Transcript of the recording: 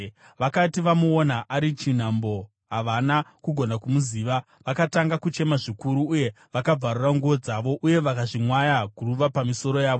Vakati vamuona ari chinhambwe, havana kugona kumuziva, vakatanga kuchema zvikuru, uye vakabvarura nguo dzavo uye vakazvimwaya guruva pamisoro yavo.